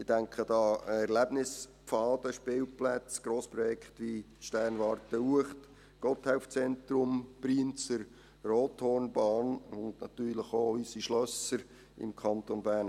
Ich denke da an Erlebnispfade, Spielplätze, Grossprojekte wie die Sternwarte Uecht, das Gotthelf-Zentrum, die Brienzer Rothornbahn und natürlich auch an unsere Schlösser im Kanton Bern.